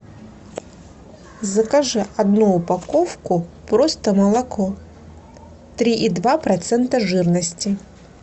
закажи одну упаковку просто молоко три и два процента жирности